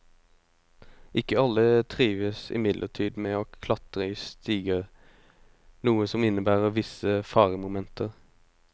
Ikke alle trives imidlertid med å klatre i stiger, noe som innebærer visse faremomenter.